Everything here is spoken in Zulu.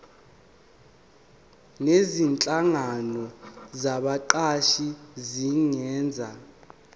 nezinhlangano zabaqashi zingenza